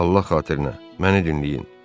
Allah xatirinə, məni dinləyin.